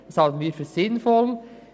Dies halten wir für sinnvoll.